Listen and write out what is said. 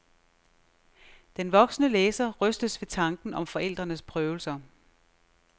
Den voksne læser rystes ved tanken om forældrenes prøvelser.